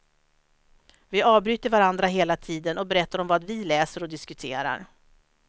Vi avbryter varandra hela tiden och berättar om vad vi läser, och diskuterar.